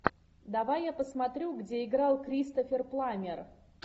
давай я посмотрю где играл кристофер пламмер